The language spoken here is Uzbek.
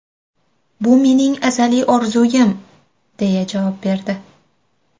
Bu mening azaliy orzuyim”, deya javob berdi.